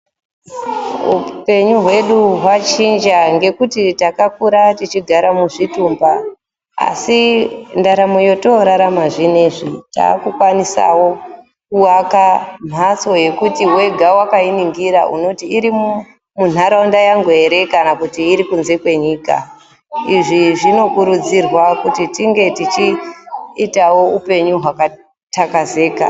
Hupenyu hwedu hwachinja ngekuti takakura techigara muzvitumba asi ndaramo yetorarama zvinezvi takukwanisawo kuaka mhatso yekuti wega wakaitarisa unoti iri munharaunda yangu ere kana kuti irikunze kwenyika. Izvi zvinokurudzirwa kuti tinenge tichiita upenyu hwakatakazeka.